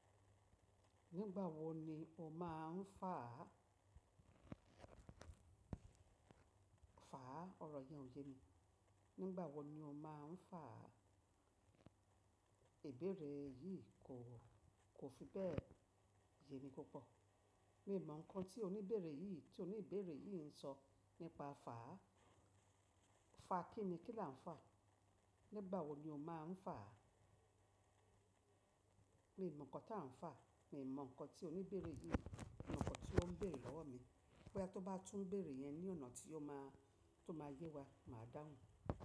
Nígbà wo ni o má a ń fà á? Fàá, ọ̀rọ̀ yẹn ò ye mi. Nígbà wo ni o má ń fà á? Ìbéèrè yì kò, kò fi bẹ́ẹ̀ ye mi púpọ̀. Mi ò mọ̀ ǹkan tí oníbéèrè yì tí oníbéèrè yì ń sọ nípa fàá. Fa kinni, kí là ń fà? Nígbà wo ni o má a ń fà á? Mi ò mọ̀ ǹkan tí à ń fà. Mi ò mọ̀ ǹkan tí oníbéèrè yì ǹkan tí ó ń béèrè lọ́wọ́ mi. Boya t ó bá tún bèèrè yẹn ní ọ̀nà tí ó ma, tó máa yé wa, màá dáhùn.